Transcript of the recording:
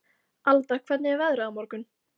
Alda, hvernig er veðrið á morgun?